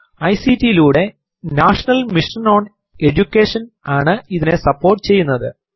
ICT ലൂടെ National Mission on Education ആണ് ഇതിനെ സപ്പോർട്ട് ചെയ്യുന്നത്